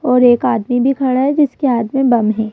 और एक आदमी भी खड़ा है जिसके हाथ में बम है।